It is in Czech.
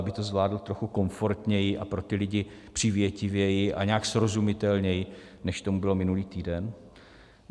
Aby to zvládl trochu komfortněji a pro ty lidi přívětivěji a nějak srozumitelněji, než tomu bylo minulý týden?